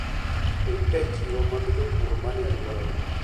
Dhi e chiro mag jopur manie alworau.